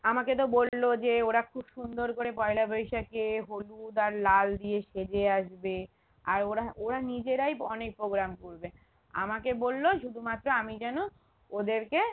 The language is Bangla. আমাকে তো বললো যে ওরা খুব সুন্দর করে পয়লা বৈশাখে হলুদ আর লাল দিয়ে সেজে আসবে আর ওরা ওরা নিজেরাই ওখানেই program করবে আমাকে বললো শুধু মাত্র আমি যেন ওদেরকে